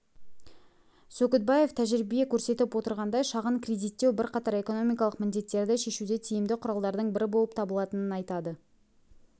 сөкітбаев тәжірибе көрсетіп отырғандай шағын кредиттеу бірқатар экономикалық міндеттерді шешуде тиімді құралдардың бірі болып табылатынын айтады